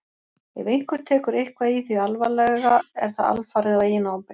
Ef einhver tekur eitthvað í því alvarlega er það alfarið á eigin ábyrgð.